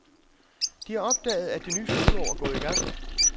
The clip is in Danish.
De har opdaget, at det nye skoleår er gået i gang.